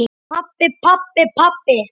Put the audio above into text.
Pabbi, pabbi, pabbi.